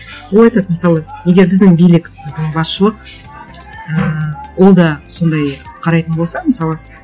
ол айтады мысалы егер біздің билік біздің басшылық ммм ол да сондай қарайтын болса мысалы